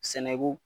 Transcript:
Sɛnɛko